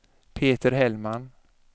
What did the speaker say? Peter Hellman